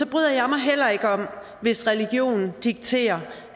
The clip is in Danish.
bryder jeg mig heller ikke om hvis religionen dikterer